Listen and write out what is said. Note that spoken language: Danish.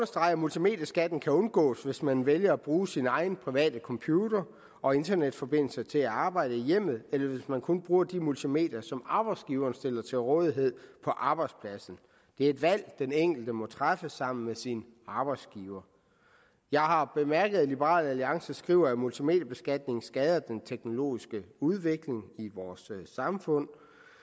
at multimedieskatten kan undgås hvis man vælger at bruge sin egen private computer og internetforbindelse til at arbejde i hjemmet eller hvis man kun bruger de multimedier som arbejdsgiveren stiller til rådighed på arbejdspladsen det er et valg den enkelte må træffe sammen med sin arbejdsgiver jeg har bemærket at liberal alliance skriver at multimediebeskatningen skader den teknologiske udvikling i vores samfund